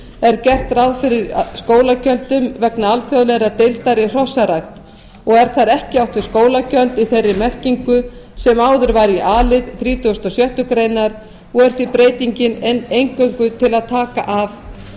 er gert ráð fyrir skólagjöldum vegna alþjóðlegrar deildar í hrossarækt og er þar ekki átt við skólagjöld í þeirri merkingu sem áður var í a lið þrítugasta og sjöttu greinar og er því breytingin eingöngu til að taka af